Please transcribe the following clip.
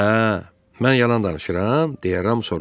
Hə, mən yalan danışıram deyə Ram soruşdu.